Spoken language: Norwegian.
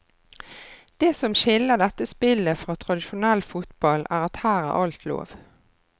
Det som skiller dette spillet fra tradisjonell fotball er at her er alt lov.